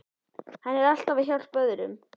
Hann er alltaf að hjálpa öðrum.